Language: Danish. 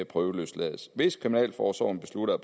prøveløslades hvis kriminalforsorgen beslutter